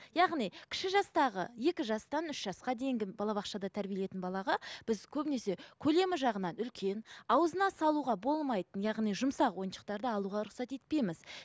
яғни кіші жастағы екі жастан үш жасқа дейінгі балабақшада тәрбиеленетін балаға біз көбінесе көлемі жағынан үлкен аузына салуға болмайтын яғни жұмсақ ойыншықтарды алуға рұқсат етпейміз